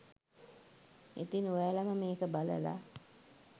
ඉතින් ඔයාලම මේක බලල